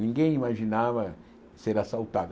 Ninguém imaginava ser assaltado.